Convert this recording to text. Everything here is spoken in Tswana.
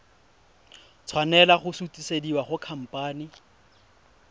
tshwanela go sutisediwa go khamphane